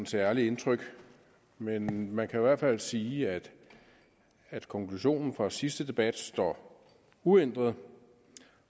særligt indtryk men man kan i hvert fald sige at at konklusionen fra sidste debat står uændret